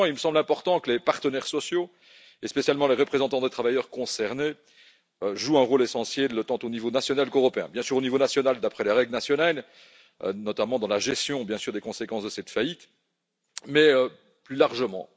Deuxièmement, il me semble important que les partenaires sociaux, et en particulier les représentants des travailleurs concernés jouent un rôle essentiel, tant au niveau national qu'européen bien sûr, au niveau national, d'après les règles nationales, notamment dans la gestion des conséquences de cette faillite, bien sûr, mais aussi plus largement.